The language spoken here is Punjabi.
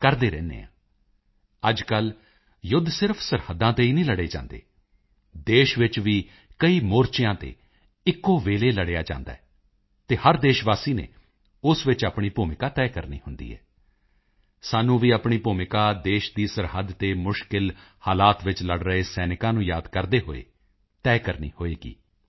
ਕਰਦੇ ਰਹਿੰਦੇ ਹਾਂ ਅੱਜਕੱਲ੍ਹ ਯੁੱਧ ਸਿਰਫ ਸਰਹੱਦਾਂ ਤੇ ਹੀ ਨਹੀਂ ਲੜੇ ਜਾਂਦੇ ਦੇਸ਼ ਵਿੱਚ ਵੀ ਕਈ ਮੋਰਚਿਆਂ ਤੇ ਇੱਕੋ ਵੇਲੇ ਲੜਿਆ ਜਾਂਦਾ ਹੈ ਅਤੇ ਹਰ ਦੇਸ਼ ਵਾਸੀ ਨੇ ਉਸ ਵਿੱਚ ਆਪਣੀ ਭੂਮਿਕਾ ਤੈਅ ਕਰਨੀ ਹੁੰਦੀ ਹੈ ਸਾਨੂੰ ਵੀ ਆਪਣੀ ਭੂਮਿਕਾ ਦੇਸ਼ ਦੀ ਸਰਹੱਦ ਤੇ ਮੁਸ਼ਕਿਲ ਹਾਲਾਤ ਵਿੱਚ ਲੜ ਰਹੇ ਸੈਨਿਕਾਂ ਨੂੰ ਯਾਦ ਕਰਦੇ ਹੋਏ ਤੈਅ ਕਰਨੀ ਹੋਵੇਗੀ